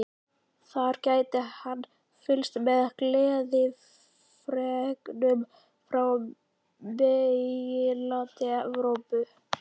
Þar gæti hann fylgst með gleðifregnunum frá meginlandi Evrópu.